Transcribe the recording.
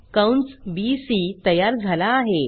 कंस बीसी तयार झाला आहे